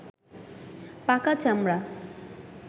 পাকা চামড়া